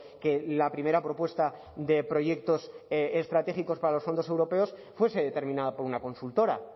que la primera propuesta de proyectos estratégicos para los fondos europeos fuese determinada por una consultora